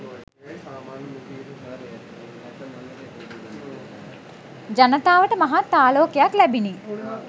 ජනතාවට මහත් ආලෝකයක් ලැබිණි.